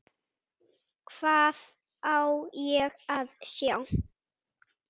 Hvað á ég að sjá?